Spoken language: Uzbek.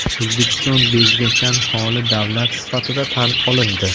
O‘zbekiston bezgakdan holi davlat sifatida tan olindi.